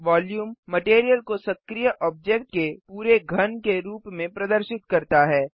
volume material को सक्रीय object के पूरे घन के रूप में प्रदर्शित करता है